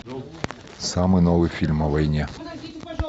самый новый фильм о войне